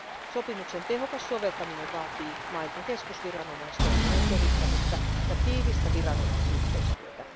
Sopimuksen tehokas soveltaminen vaatii mailta keskusviranomaistoiminnan kehittämistä ja tiivistä viranomaisyhteistyötä.